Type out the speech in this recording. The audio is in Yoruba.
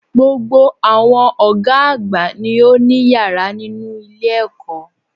Gbogbo àwọn Ògá àgbà ni ó ní yàrá nínú ilé èkó